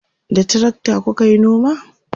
da trakta kukayi noma?